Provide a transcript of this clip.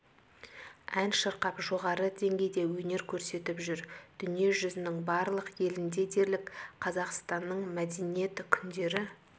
ән шырқап жоғары деңгейде өнер көрсетіп жүр дүние жүзінің барлық елінде дерлік қазақстанның мәдениет күндері